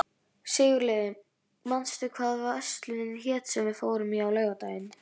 Sigurliði, manstu hvað verslunin hét sem við fórum í á laugardaginn?